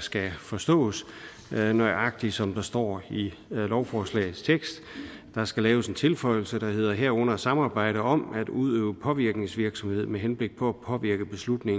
skal forstås nøjagtig som der står i lovforslagets tekst der skal laves en tilføjelse der hedder herunder samarbejde om at udøve påvirkningsvirksomhed med henblik på at påvirke